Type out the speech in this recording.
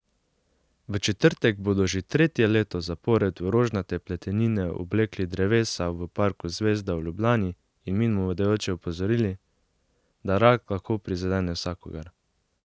V četrtek bodo že tretje leto zapored v rožnate pletenine oblekli drevesa v Parku Zvezda v Ljubljani in mimoidoče opozorili, da rak lahko prizadene vsakogar.